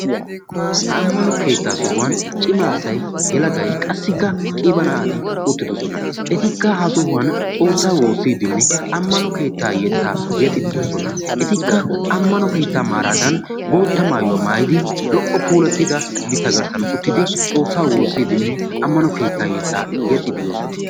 ha ammano keettaa sohuwan cimaasa helagay qassi ka qiiba na'ati uttidosona etikka ha sohuwan xoossaa woossiiddinne ammano keettaa yeettaa yexxididoosona etikka ammano keettaa maaraadan bootta maayuwaa maayidi lo''o puulattida mitta garssan uttidi xoossaa woossiiddinne ammano keettaa yeettaa yexxididoosona